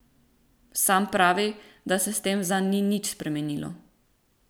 Sam pravi, da se s tem zanj ni nič spremenilo.